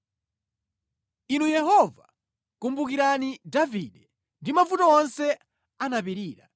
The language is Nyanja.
Inu Yehova, kumbukirani Davide ndi mavuto onse anapirira.